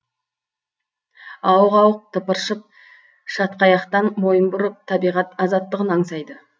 ауық ауық тыпыршып шатқаяқтан мойын бұрып табиғат азаттығын аңсайды